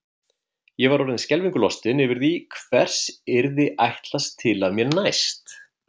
Ég var orðin skelfingu lostin yfir því hvers yrði ætlast til af mér næst.